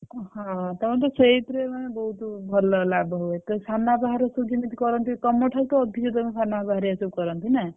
ହଁ ତମର ତ ସେଇଥିରେ ମାନେ ବହୁତ ଭଲ ଲାଭ ହୁଏ ତୋ ସାନବାପା ଘରେ ସବୁ ଯେମିତି କରନ୍ତି ତମ ଠାରୁ ତ ଅଧିକ ତମ ସାନବାପା ହେରିକ ସବୁ କରନ୍ତି ନା?